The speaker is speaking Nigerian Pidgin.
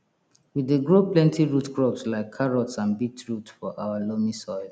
we dey grow plenty root crops like carrots and beetroot for our loamy soil